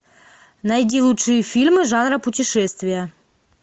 найди лучшие фильмы жанра путешествия